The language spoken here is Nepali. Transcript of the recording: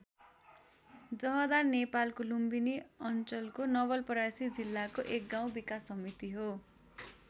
जहदा नेपालको लुम्बिनी अञ्चलको नवलपरासी जिल्लाको एक गाउँ विकास समिति हो।